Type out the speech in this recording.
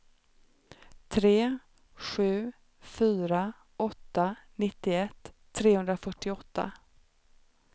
tre sju fyra åtta nittioett trehundrafyrtioåtta